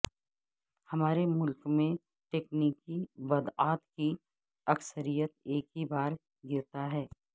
ہمارے ملک میں تکنیکی بدعات کی اکثریت ایک ہی بار گرتا ہے